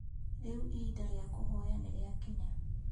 Rĩu ihinda rĩa kũhoya nĩrĩakinya